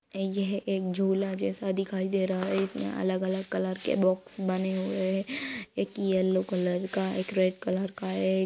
यह एक झूला जैसा दिखाई दे रहा है। इसमें अलग-अलग कलर के बॉक्स बने हुए हैं। एक येलो कलर का एक रेड कलर का है एक --